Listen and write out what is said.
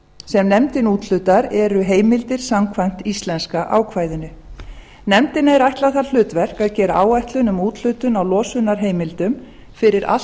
sem nefndin úthlutar eru heimildir samkvæmt íslenska ákvæðinu nefndinni er ætlað það hlutverk að gera áætlun um úthlutun á losunarheimildum fyrir allt